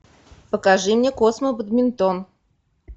покажи мне космобадминтон